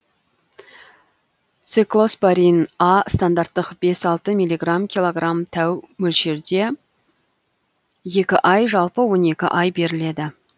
циклоспорин а стандарттық бес алты миллиграмм килограмм тәу мөлшерде екі ай жалпы он екі ай беріледі